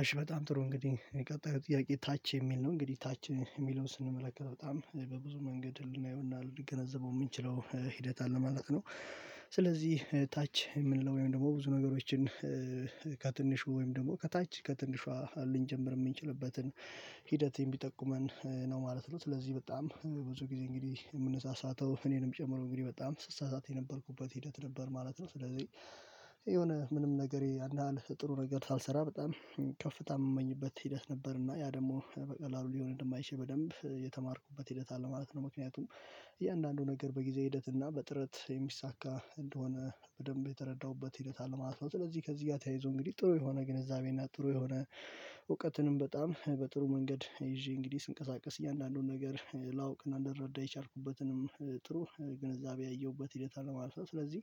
አሽ በጣም ጥሩ እንግዲህ የቀጣዩ ጥያቄ ታች የሚል ነው እንግዲህ ታች የሚለውን ስንመለከት በጣም በብዙ መንገድ ልናየውና ልንገነዘበው የምንችለው ሂደት አለ ማለት ነው። ስለዚህ ታች የምንለው ወይም ደግሞ ብዙ ነገሮችን ከትንሽ ወይም ደግሞ ከታች ከትንሿ ልንጀምር የምንችልበትን ሂደቴን ቢጠቁመን ነው ማለት ነው። ስለዚህ በጣም ብዙ ጊዜ እንግዲህ የምንሳሳተው እኔንም ጨምሮ እንግዲህ በጣም ስሳሳት የነበርኩበት ሂደት ነበር ማለት ነው። ስለዚህ የሆነ ምንም ነገር ያን ያህል ጥሩ ነገር ሳልሰራ በጣም ከፍታ የምመኝበት ሂደት ነበርና ያ ደግሞ በቀላሉ ሊዮኔል ማይሼ በደንብ የተማርኩበት ሂደት አለ ማለት ነው። ምክንያቱም እያንዳንዱ ነገር በጊዜ ሂደት እና በጥረት የሚሳካ እንደሆነ በደንብ የተረዳሁበት ሂደት አለማስፈረም። ስለዚህ ከዚህ ጋር ተያይዞ እንግዲህ ጥሩ የሆነ ግንዛቤ ጥሩ የሆነ እውቀትንም በጣም በጥሩ መንገድ ይዤ እንግዲህ ስንቀሳቀስ እያንዳንዱን ነገር ላውቅና እንደረዳሁበትንም ጥሩ ግንዛቤ ያየሁበት ሂደት አለማለፍ። ስለዚህ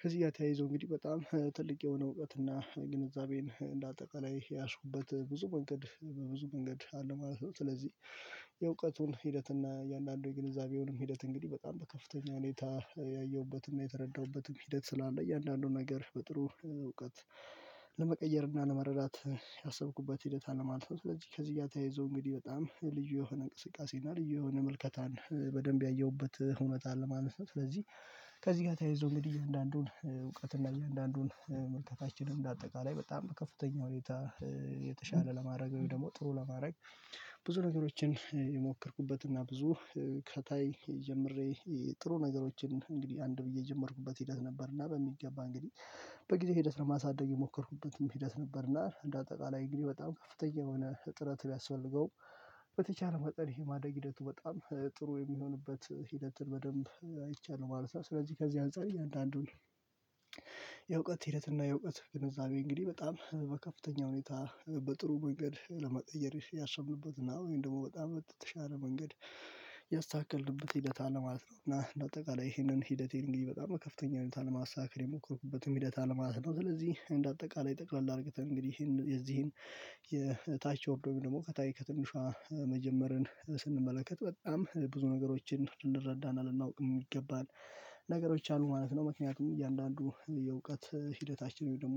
ከዚህ ጋር ተያይዞ እንግዲህ በጣም ትልቅ የሆነ እውቀት እና ግንዛቤን እንደ አጠቃላይ ያዝኩበት ብዙ መንገድ በብዙ መንገድ አለ ማለት ነው። ስለዚህ የእውቀቱን ሂደት እና የእያንዳንዱን ግንዛቤውንም ሂደት እንግዲህ በጣም በከፍተኛ ሁኔታ ያየሁበትና የተረዳሁበትም ሂደት ስላለ እያንዳንዱን ነገር በጥሩ እውቀት ለመቀየር እና ለመረዳት ያሰብኩበት ሂደት አለ ማለት ነው። ስለዚህ ከዚህ ጋር ተያይዞ እንግዲህ በጣም ልዩ የሆነ እንቅስቃሴ እና ልዩ የሆነ መልከታን በደንብ ያየሁበት እውነት አለማለት ነው። ስለዚህ ከዚህ ጋር ተያይዞ እንግዲህ እያንዳንዱን እውቀት እና እያንዳንዱን መልከታችንን በአጠቃላይ በጣም ከፍተኛ ሁኔታ የተሻለ ለማድረግ ወይም ደግሞ ጥሩ ለማድረግ ብዙ ነገሮችን የሞከርኩበት እና ብዙ ከታይ ጀምሬ ጥሩ ነገሮችን እንግዲህ አንድ ብዬ የጀመርኩበት ሂደት ነበር። በሚገባ እንግዲህ በጊዜ ሂደት ለማሳደግ የሞከርኩበትም ሂደት ነበርና እንደ አጠቃላይ እግሬ በጣም ከፍተኛ የሆነ እጥረት ቢያስፈልገው በተቻለ መጠን ይሄ ማደግ ሂደቱ በጣም ጥሩ የሚሆንበት ሂደትን በደንብ አይቻልም ማለት ነው። ስለዚህ ከዚህ አንፃር እያንዳንዱን የእውቀት ሂደትና የእውቀት ግንዛቤ እንግዲህ በጣም በከፍተኛ ሁኔታ በጥሩ መንገድ ለመቀየር ያሰብንበትና ወይም ደግሞ በጣም በተሻለ መንገድ ያስተካክልበት ሂደት አለ ማለት ነው። እና በአጠቃላይ ይሄንን ሂደቴን እንግዲህ በጣም ከፍተኛ ላይ ለማሳካት የሞከርኩበትን ሂደት አልማት ነው። ስለዚህ እንደ አጠቃላይ ጠቅለል አድርገን እንግዲህ ይሄን የዚህን የታች ኦርዶሚ ደግሞ ከታይ ከትንሿ መጀመርን ስንመለከት በጣም ብዙ ነገሮችን እንረዳና ልናውቅ የሚገባን ነገሮች አሉ ማለት ነው። ምክንያቱም እያንዳንዱ የእውቀት ሂደታችን ወይም ደግሞ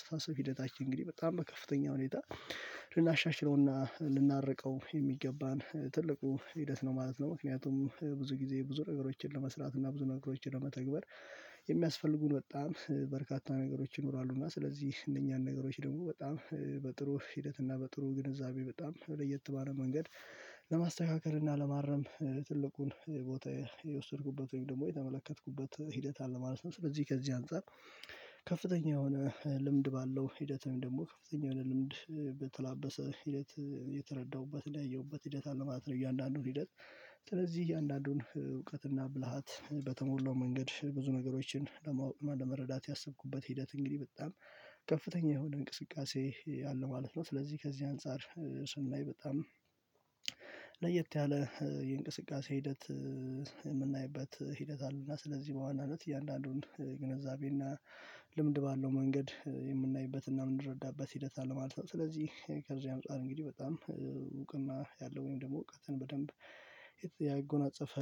ያስታሰብ ሂደታችን እንግዲህ በጣም በከፍተኛ ሁኔታ ልናሻሽለውና ልናርቀው የሚገባን ትልቁ ሂደት ነው ማለት ነው። ምክንያቱም ብዙ ጊዜ ብዙ ነገሮችን ለመስራት እና ብዙ ነገሮችን ለመተግበር የሚያስፈልጉን በጣም በርካታ ነገሮች ይኖራሉ እና ስለዚህ እነኛን ነገሮች ደግሞ በጣም በጥሩ ሂደት እና በጥሩ ግንዛቤ በጣም ለየት ባለ መንገድ ለማስተካከል እና ለማረም ትልቁን ቦታ የወሰድኩበት ወይም ደግሞ የተመለከትኩበት ሂደት አለ ማለት ነው። ስለዚህ ከዚህ አንፃር ከፍተኛ የሆነ ልምድ ባለው ሂደቱም ደግሞ ከፍተኛ የሆነ ልምድ በተላበሰ ሂደት የተረዳሁበት ያየሁበት ሂደት አለ ማለት ነው። እያንዳንዱን ሂደት ስለዚህ እያንዳንዱን እውቀትና ብልሃት በተሞላው መንገድ ብዙ ነገሮችን ለመረዳት ያሰብኩበት ሂደት እንግዲህ በጣም ከፍተኛ የሆነ እንቅስቃሴ ያለ ማለት ነው። ስለዚህ ከዚህ አንፃር ስንላይ በጣም ለየት ያለ የእንቅስቃሴ ሂደት የምናይበት ሂደት አሉና ስለዚህ በዋናነት እያንዳንዱን ግንዛቤና ልምድ ባለው መንገድ የምናይበትና የምንረዳበት ሂደት አለ ማለት ነው። ስለዚህ ከዚህ አንፃር እንግዲህ በጣም እውቅና ያለው ወይም ደግሞ እውቀትን በደንብ ያጎናጸፈ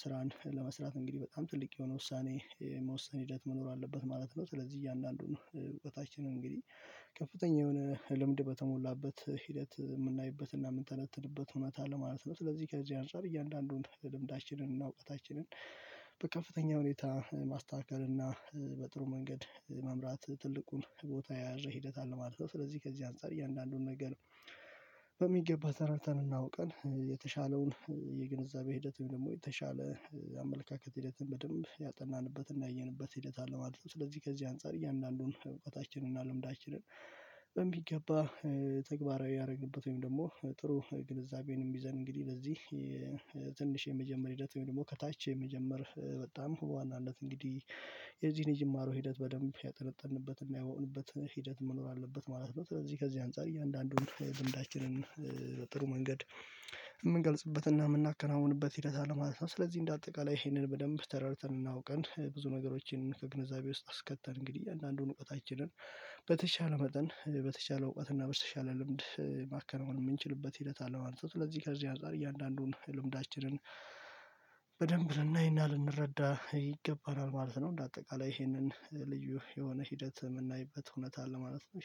ስራን ለመስራት እንግዲህ በጣም ትልቅ የሆነ ውሳኔ የመወሰን ሂደት መኖር አለበት ማለት ነው። ስለዚህ እያንዳንዱን ነው እውቀታችንን እንግዲህ ከፍተኛ የሆነ ልምድ በተሞላበት ሂደት የምናይበት እና የምንተነትንበት ሁኔታ ለማለት ነው። ስለዚህ ከዚህ አንፃር እያንዳንዱን ለልምዳችንን እና እውቀታችንን በከፍተኛ ሁኔታ ማስተካከል እና በጥሩ መንገድ መምራት ትልቁን ቦታ የያዘ ሂደት አለ ማለት ነው። ስለዚህ ከዚህ አንፃር እያንዳንዱን ነገር ነው በሚገባ ተረድተን እናውቀን የተሻለውን የግንዛቤ ሂደት ወይም ደግሞ የተሻለ አመለካከት ሂደትን በደንብ ያጠናንበትና ያየንበት ሂደት አለ ማለት ነው። ስለዚህ ከዚህ አንፃር እያንዳንዱን እውቀታችንን እና ልምዳችንን በሚገባ ተግባራዊ ያደረግበት ወይም ደግሞ ጥሩ ግንዛቤንም ይዘን እንግዲህ ለዚህ ትንሽ የመጀመሪያው ሂደት ወይም ደግሞ ከታች የመጀመር በጣም በዋናነት እንግዲህ የዚህን የጅማሮ ሂደት በደንብ ያጠነጠንበትና ያወውንበት ሂደት መኖር አለበት ማለት ነው። ስለዚህ ከዚህ አንፃር እያንዳንዱን ልምዳችንን በጥሩ መንገድ የምንገልጽበትና የምናከናውንበት ሂደት አለ ማለት ነው። ስለዚህ እንደ አጠቃላይ ይሄንን በደንብ ተረድተን እና አውቀን ብዙ ነገሮችን ከግንዛቤ ውስጥ አስከተን እንግዲህ አንዳንዱን እውቀታችንን በተቻለ መጠን በተቻለ እውቀት እና በተቻለ ልምድ ማከናወን የምንችልበት ሂደት አለው ማለት ነው። ስለዚህ ከዚህ አንፃር እያንዳንዱን ልምዳችንን በደንብ ልናይና ልንረዳ ይገባናል ማለት ነው። እንደ አጠቃላይ ይሄንን ልዩ የሆነ ሂደት የምናይበት እውነት አለ ማለት ነው